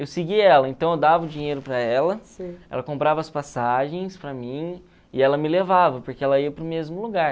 Eu segui ela, então eu dava o dinheiro para ela, ela comprava as passagens para mim e ela me levava, porque ela ia para o mesmo lugar.